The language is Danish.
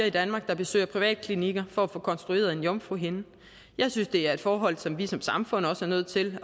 i danmark der besøger privatklinikker for at få konstrueret en jomfruhinde jeg synes det er et forhold som vi som samfund er nødt til